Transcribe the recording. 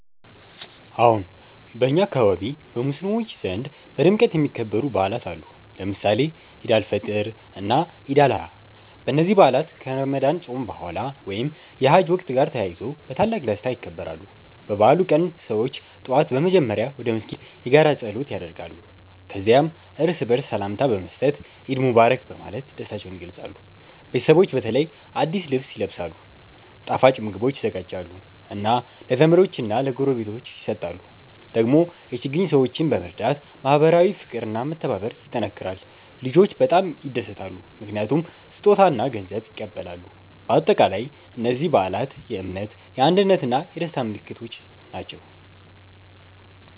አዎን፣ በእኛ አካባቢ በሙስሊሞች ዘንድ በድምቀት የሚከበሩ በዓላት አሉ፣ ለምሳሌ ኢድ አል-ፊጥር እና ኢድ አል-አድሃ። እነዚህ በዓላት ከረመዳን ጾም በኋላ ወይም የሐጅ ወቅት ጋር ተያይዞ በታላቅ ደስታ ይከበራሉ። በበዓሉ ቀን ሰዎች ጠዋት በመጀመሪያ ወደ መስጊድ በመሄድ የጋራ ጸሎት ያደርጋሉ። ከዚያም እርስ በርስ ሰላምታ በመስጠት “ኢድ ሙባረክ” በማለት ደስታቸውን ይገልጻሉ። ቤተሰቦች በተለይ አዲስ ልብስ ይለብሳሉ፣ ጣፋጭ ምግቦች ይዘጋጃሉ እና ለዘመዶች እና ለጎረቤቶች ይሰጣሉ። ደግሞ የችግኝ ሰዎችን በመርዳት ማህበራዊ ፍቅር እና መተባበር ይጠናከራል። ልጆች በጣም ይደሰታሉ ምክንያቱም ስጦታ እና ገንዘብ ይቀበላሉ። በአጠቃላይ እነዚህ በዓላት የእምነት፣ የአንድነት እና የደስታ ምልክት ናቸው።